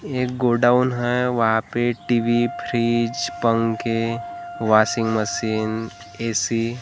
ये गोडाउन है। वहां पे टी_वी फ्रिज पंखे वाशिंग मशीन ए_सी --